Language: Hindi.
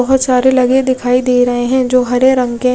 बोहोत सारे लगे दिखाई दे रहे है जो हरे रंग के --